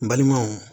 N balimaw